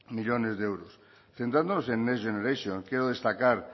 millónes de euros centrándonos en next generation quiero destacar